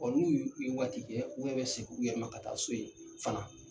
Olu u ye waati kɛ u yɛrɛ bɛ segin u yɛrɛ ma ka taa so yen fana.